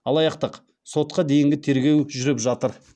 сотқа дейінгі тергеу жүріп жатыр